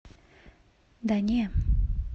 да не